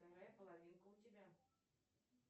вторая половинка у тебя